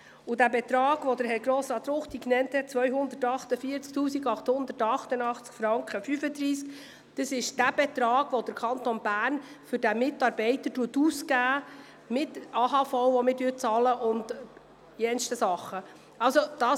Beim Betrag von 248 888,35 Franken, wie ihn Grossrat Ruchti berechnete, handelt es sich um den Betrag, welcher der Kanton Bern für diesen Mitarbeiter für AHV und anderes ausgibt.